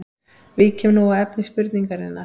Víkjum nú að efni spurningarinnar.